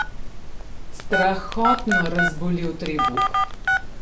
Strahotno razbolel trebuh!